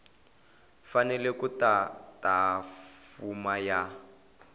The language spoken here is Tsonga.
fanele ku tata fomo ya